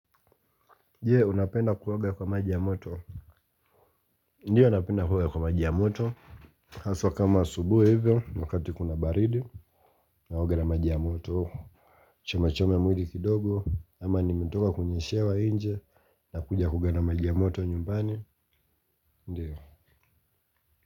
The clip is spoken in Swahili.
Je unapenda kuwoga kwa maji ya moto. Ndiyo napenda kuoga kwa maji ya moto. Haswa kama asubuhi hivyo. Wakati kuna baridi naoga na maji ya moto. Chome chome mwidi kidogo kama nimetoka kunyeshewa inje. Nakuja kuoga na maji ya moto nyumbani. Ndiyo.